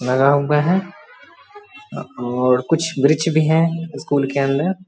लगा हुआ है और कुछ वृक्ष भी हैं स्कूल के अंदर।